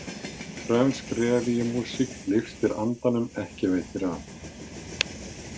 Frönsk revíumúsík lyftir andanum, ekki veitir af.